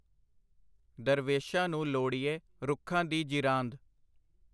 ਦਰਵੇਸ਼ਾਂ ਨੂੰ ਲੋੜੀਏ , ਰੁੱਖਾਂ ਦੀ ਜੀਰਾਂਦ .